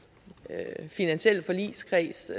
finansielle forligskreds